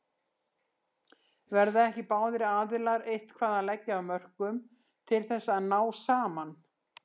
Verða ekki báðir aðilar eitthvað að leggja af mörkum til þess að ná saman?